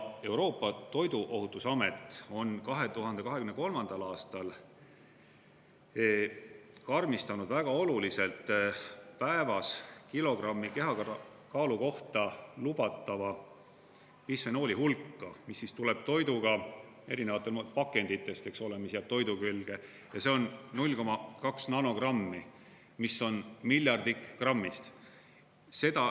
Euroopa Toiduohutusamet on 2023. aastal karmistanud väga oluliselt päevas kilogrammi kehakaalu kohta lubatava bisfenooli hulka, mis tuleb toiduga erinevatest pakenditest, mis jääb toidu külge, ja see on 0,2 nanogrammi, mis on miljardik grammist.